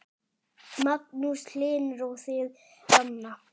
Magnús Hlynur: Og þið, Ranna?